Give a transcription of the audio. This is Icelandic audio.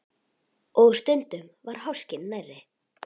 Og stundum var háskinn nærri.